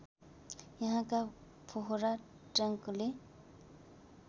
यहाँका फोहरा ट्याङ्कले